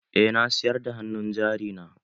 Eh na siyar da hannun jari na.